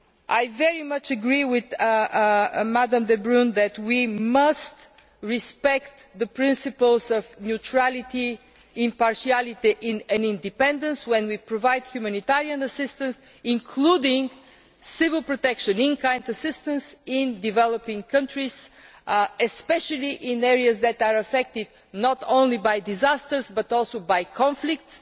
I very much agree with Ms de Brún that we must respect the principles of neutrality, impartiality and independence when we provide humanitarian assistance, including civil protection in kind assistance in developing countries, especially in areas that are affected not only by disasters, but also by conflicts.